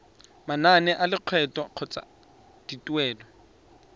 manane a lekgetho kgotsa dituelo